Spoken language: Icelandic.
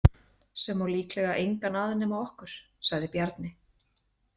Sem á líklega engan að nema okkur, sagði Bjarni.